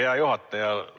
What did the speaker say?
Hea juhataja!